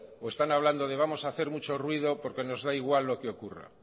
o están hablando de vamos a hacer mucho ruido porque nos da igual lo que ocurra